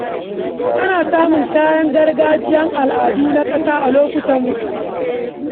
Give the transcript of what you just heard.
Ana samun kayan gargajiya na al’adun ƙasa a lokutan bukukuwa.